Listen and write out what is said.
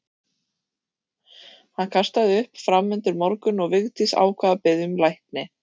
Hann kastaði upp fram undir morgun og Vigdís ákvað að biðja um lækni.